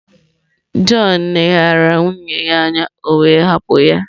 John leghaara nwunye ya anya, o wee hapụ ya.